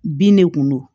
Bin de kun do